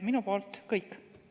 Minu poolt kõik.